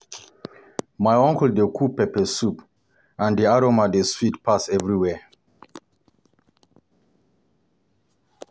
My uncle dey cook pepper soup, and the aroma dey sweet pass everywhere.